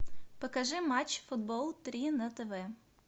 покажи матч футбол три на тв